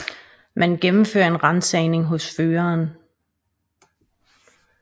Man gennemfører en ransagning hos føreren